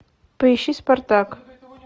поищи спартак